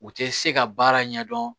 U tɛ se ka baara ɲɛdɔn